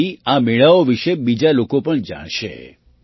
તેનાથી આ મેળાઓ વિશે બીજા લોકો પણ જાણશે